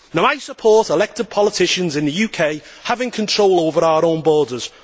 I support elected politicians in the UK having control over our own borders.